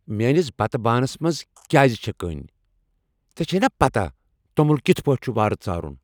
میٛٲنس بتہٕ بانس منٛز کیٛاز چھےٚ کٔنۍ؟ ژےٚ چھیٚے نا پتہ توٚمل کتھ پٲٹھۍ چُھ وارٕ ژارُن؟